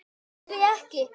Nenni því ekki